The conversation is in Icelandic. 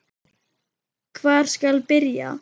Hvar skal byrja?